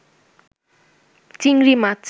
চিংড়ি মাছ